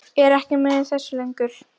Er ekki með í þessu lengur.